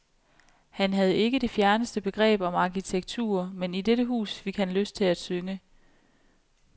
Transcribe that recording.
Han havde ikke det fjerneste begreb om arkitektur, men i dette hus fik han lyst til at synge.